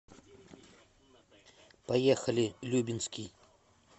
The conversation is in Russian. поехали любинский